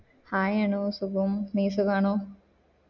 Hi Anu സുഖം നീ സുഖാണോ